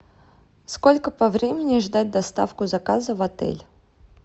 сколько по времени ждать доставку заказа в отель